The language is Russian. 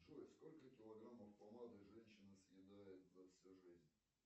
джой сколько килограм помады женщина съедает за всю жизнь